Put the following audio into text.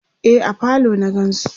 e a falo na gansu